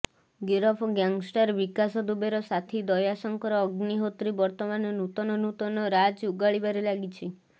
ଗିରଫ ଗ୍ୟାଙ୍ଗଷ୍ଟାର ବିକାଶ ଦୁବେର ସାଥୀ ଦୟାଶଙ୍କର ଅଗ୍ନିହୋତ୍ରୀ ବର୍ତ୍ତମାନ ନୂତନ ନୂତନ ରାଜ୍ ଅଗାଳିବାରେ ଲାଗିଛି